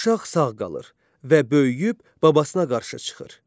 Uşaq sağ qalır və böyüyüb babasına qarşı çıxır.